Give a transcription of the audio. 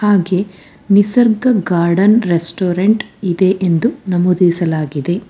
ಹಾಗೆ Nisarga garden restaurant ಇದೆ ಎಂದು ನಮೂದಿಸಲಾಗಿದೆ.